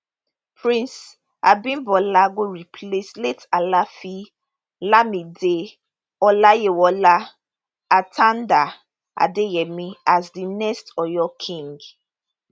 prince abimbola go replace late afaafin lamidi olayiwola atanda adeyemi as di next oyo king